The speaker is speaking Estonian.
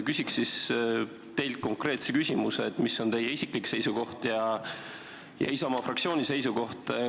Küsiks teilt konkreetse küsimuse, et mis on teie isiklik seisukoht ja Isamaa fraktsiooni seisukoht.